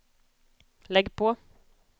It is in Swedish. lägg på